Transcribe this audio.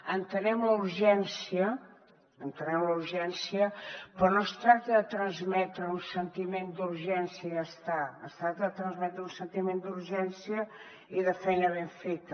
entenem la urgència però no es tracta de transmetre un sentiment d’urgència i ja està es tracta de transmetre un sentiment d’urgència i de feina ben feta